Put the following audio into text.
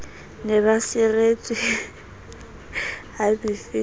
ne ba seretswe ha mefenetha